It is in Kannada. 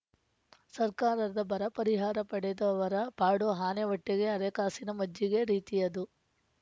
ಸರ್ಕಾರದ ಬರಪರಿಹಾರ ಪಡೆದವರ ಪಾಡು ಆನೆ ಹೊಟ್ಟೆಗೆ ಅರೆಕಾಸಿನ ಮಜ್ಜಿಗೆ ರೀತಿಯದು